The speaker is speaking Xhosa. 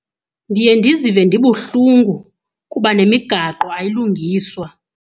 Ndiye ndizive ndibuhlungu kuba nemigaqo ayilungiswa.